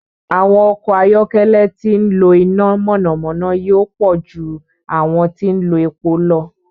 Àwọn ọkọ̀ ayọ́kẹ́lẹ́ tí ń lo iná mọ̀nàmọ́ná yóò pọ̀ ju àwọn tí ń lo epo lọ.